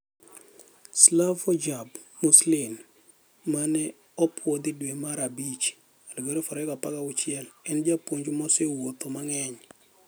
Slavoljub Muslin, mane opwodhidwe mar abich 2016, en japuonj mose wuotho mang'eny.